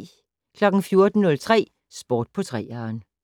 14:03: Sport på 3'eren